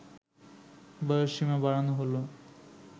বয়সসীমা বাড়ানো হলো